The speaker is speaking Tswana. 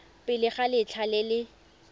pele ga letlha le le